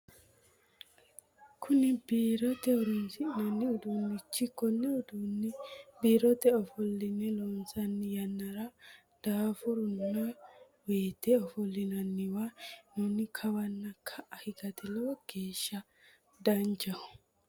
Kunni biirote horoonsi'nanni udunichoti Kone uduunni biirote ofoline loonsanni yannara daafuranni woyite ofolinoonniwa hee'nonni kawanna ka'a higate lowo geesha danchaho.